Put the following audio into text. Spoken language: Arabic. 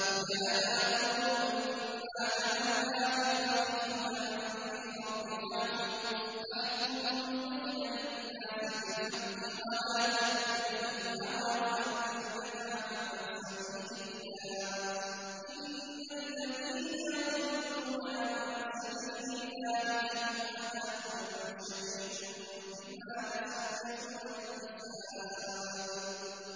يَا دَاوُودُ إِنَّا جَعَلْنَاكَ خَلِيفَةً فِي الْأَرْضِ فَاحْكُم بَيْنَ النَّاسِ بِالْحَقِّ وَلَا تَتَّبِعِ الْهَوَىٰ فَيُضِلَّكَ عَن سَبِيلِ اللَّهِ ۚ إِنَّ الَّذِينَ يَضِلُّونَ عَن سَبِيلِ اللَّهِ لَهُمْ عَذَابٌ شَدِيدٌ بِمَا نَسُوا يَوْمَ الْحِسَابِ